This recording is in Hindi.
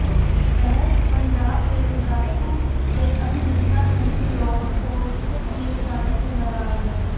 वह पंजाब के गुरदासपुर से अभिनेता सनी देओल को टिकट दिए जाने से नाराज हैं